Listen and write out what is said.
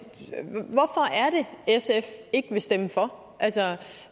sf ikke vil stemme for